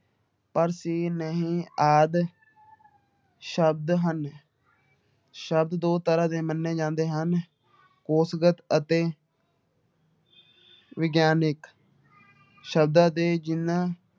ਪਰ, ਸੀ, ਨਹੀਂ ਆਦਿ ਸ਼ਬਦ ਹਨ ਸ਼ਬਦ ਦੋ ਤਰ੍ਹਾਂ ਦੇ ਮੰਨੇ ਜਾਂਦੇ ਹਨ ਕੋਸ਼ਗਤ ਅਤੇ ਵਿਗਿਆਨਕ ਸ਼ਬਦਾਂ ਦੇ ਚਿੰਨ੍ਹ